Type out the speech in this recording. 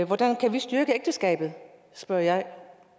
hvordan kan vi styrke ægteskabet spørger jeg